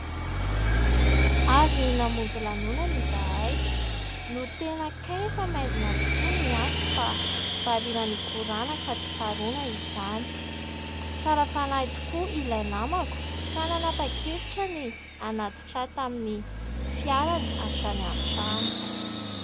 Avy namonjy lanonany izahay no tena kay fa maizina tokoa ny andro fa variana nikorana ka tsy tsaroana izany. Tsara fanahy tokoa ilay namako ka nanapa-kevitra ny hanatitra ahy tamin'ny fiarany hatrany an-trano.